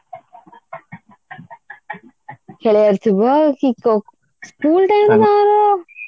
ଖେଳିବାର ଥିବ କି କଉ school time ରେ ତାଙ୍କର